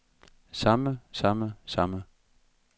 samme samme samme